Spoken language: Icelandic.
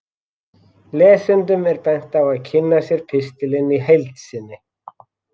Lesendum er bent á að kynna sér pistilinn í heild sinni.